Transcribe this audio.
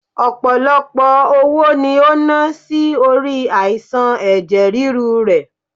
Ọpọlọpọ owó ni o na si ori aisan ẹ̀jẹ̀ ríru rẹ